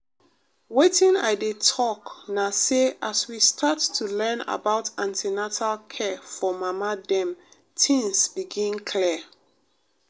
wetin i dey talk na say as we start to learn about an ten atal care for mama dem things begin clear.